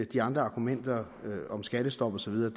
de andre argumenter om skattestop og så videre